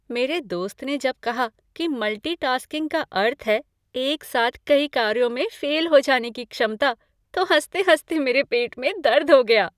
मेरे दोस्त ने जब कहा कि मल्टी टास्किंग का अर्थ है एक साथ कई कार्यों में फ़ेल हो जाने की क्षमता, तो हँसते हँसते मेरे पेट में दर्द हो गया!